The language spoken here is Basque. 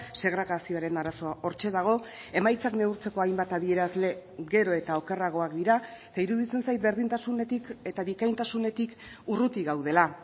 segregazioaren arazoa hortxe dago emaitzak neurtzeko hainbat adierazle gero eta okerragoak dira eta iruditzen zait berdintasunetik eta bikaintasunetik urruti gaudela